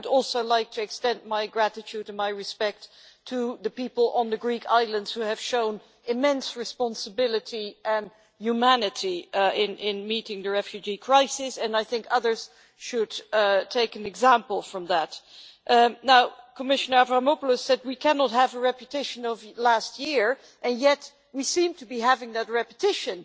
I would also like to extend my gratitude and my respect to the people on the Greek islands who have shown immense responsibility and humanity in meeting the refugee crisis, and I think others should take an example from that. Commissioner Dimitris Avramopoulos said we cannot have a repetition of last year, and yet we seem to be having that repetition.